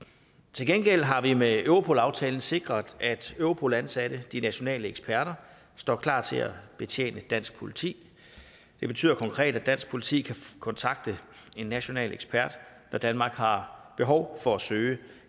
til gengæld har vi med europol aftalen sikret at europol ansatte de nationale eksperter står klar til at betjene dansk politi det betyder konkret at dansk politi kan kontakte en national ekspert når danmark har behov for at søge